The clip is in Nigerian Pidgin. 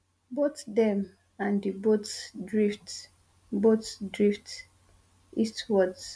both dem and di boat drift boat drift eastwards